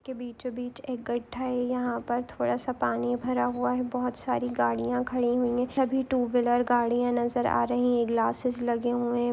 के बीचो बीच एक गठ्ठा है यहाँ पर थोड़ा सा पानी भरा हुआ है बहुत सारी गाड़िया खड़ी हुई है सभी टू वीलर गड़िया नजर आ रही है ग्लासेस लगे हुए--